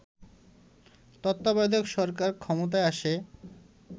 তত্ত্বাবধায়ক সরকার ক্ষমতায় আসে